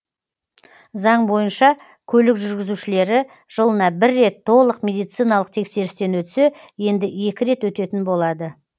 заң бойынша көлік жүргізушілері жылына бір рет толық медициналық тексерістен өтсе енді екі рет өтетін болады